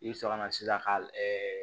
I bɛ sɔrɔ ka na sisan ka ɛɛ